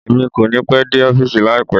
Emi kòní pẹ́ dé ọ́fìsì láípá